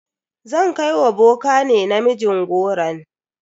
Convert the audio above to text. Zan kai wa boka ne namijin goron.